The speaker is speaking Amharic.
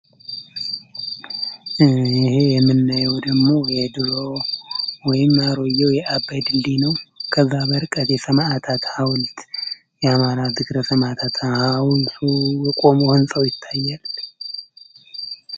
ይህ የምናየው ደሞ የድሮ ይም አሮየው የአበድ እንዲህ ነው ከዛበርቀት የሰማዓታት ሐውልት የአማራ ዝክረ ሰማታት ሃውን ውቆም ወንፀው ይታያል፡፡